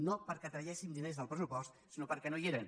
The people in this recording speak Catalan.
no perquè traguéssim diners del pressupost sinó perquè no hi eren